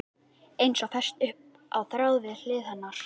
Eins og fest upp á þráð við hlið hennar.